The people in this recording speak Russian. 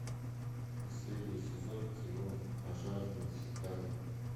последний сезон кино пожарные чикаго